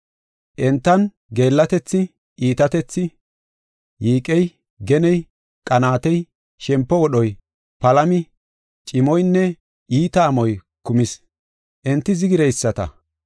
Entan geellatethi, iitatethi, yiiqey, geney, qanaatey, shempo wodhoy, palami, cimoynne iita amoy kumis. Enti zigireyisata,